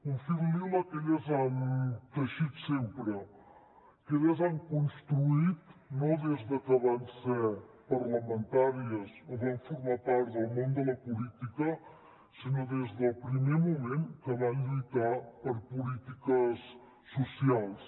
un fil lila que elles han teixit sempre que elles han construït no des que van ser parlamentàries o van formar part del món de la política sinó des del primer moment que van lluitar per polítiques socials